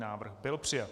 Návrh byl přijat.